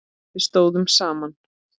Við stóðum saman.